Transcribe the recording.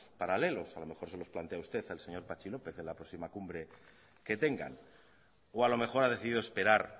paralelos a lo mejor se los plantea usted al señor patxi lópez en la próxima cumbre que tengan o a lo mejor a decidido esperar